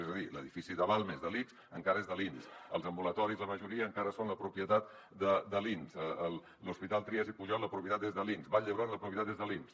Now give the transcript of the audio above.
és a dir l’edifici de balmes de l’ics encara és de l’inss els ambulatoris la majoria encara són propietat de l’inss l’hospital trias i pujol la propietat és de l’inss vall d’hebron la propietat és de l’inss